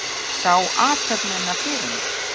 Sá athöfnina fyrir mér.